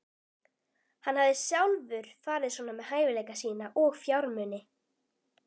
Hann hafði sjálfur farið svona með hæfileika sína og fjármuni.